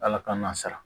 Ala k'an na sara